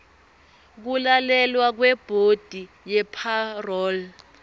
kulalelwa kwebhodi yepharoli